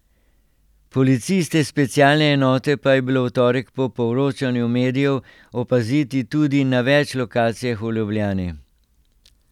Policiste specialne enote pa je bilo v torek po poročanju medijev opaziti tudi na več lokacijah v Ljubljani.